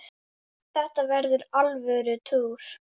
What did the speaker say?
Þetta verður alvöru túr.